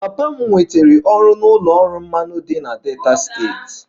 Papa m nwetara ọrụ n'ụlọ ọrụ mmanụ dị na Delta steeti